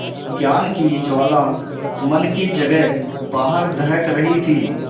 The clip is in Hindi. ज्ञान की ज्वाला मन की जगह बाहर दहक रही थी